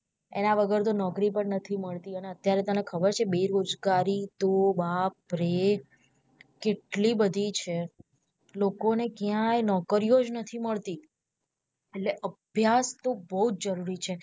એના વગર તો નોકરી પણ નથી મળતી અને અત્યારે તને ખબર છે બેરોજગારી તો બાપરે કેટલી બધી છે લોકો ને ક્યાંયે નોકરીયો જ નથી મળતી એટલે અભ્યાસ તો બૌ જ જરૂરી છે.